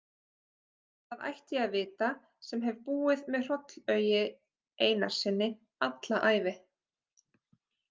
Það ætti ég að vita sem hef búið með Hrollaugi Einarssyni alla ævi.